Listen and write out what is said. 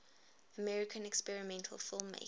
american experimental filmmakers